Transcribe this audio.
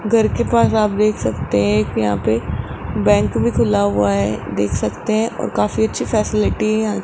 घर के पास आप देख सकते हैं कि यहां पे बैंक भी खुला हुआ है देख सकते हैं और काफी अच्छी फैसिलिटी है यहां --